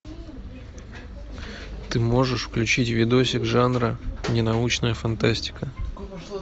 ты можешь включить видосик жанра ненаучная фантастика